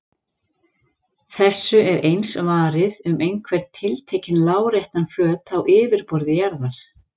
Þessu er eins varið um einhvern tiltekinn láréttan flöt á yfirborði jarðar.